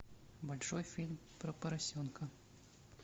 большой фильм про поросенка